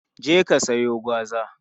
Je ka siyo gwaza!